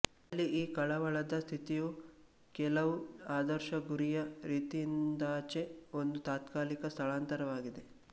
ಅಲ್ಲಿ ಈ ಕಳವಳದ ಸ್ಥಿತಿಯು ಕೆಲವು ಆದರ್ಶ ಗುರಿಯ ರೀತಿಯಿಂದಾಚೆ ಒಂದು ತಾತ್ಕಾಲಿಕ ಸ್ಥಳಾಂತರವಾಗಿದೆ